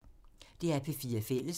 DR P4 Fælles